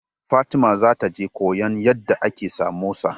Fatima za ta je koyan yadda ake samosa